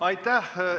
Aitäh!